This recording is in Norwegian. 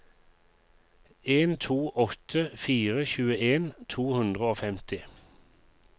en to åtte fire tjueen to hundre og femti